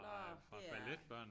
Nåh det er